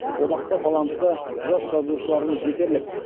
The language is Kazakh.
одақта талантты жас жазушыларымыз жетерлік